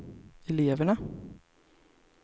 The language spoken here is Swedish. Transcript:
eleverna